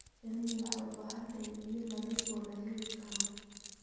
Shinnidu waxay u baahan tahay biyo nadiif ah oo la heli karo.